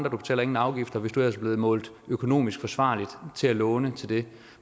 og du betaler ingen afgifter hvis du ellers er blevet målt økonomisk ansvarlig til at låne til det